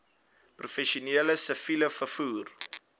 professioneel siviel vervoer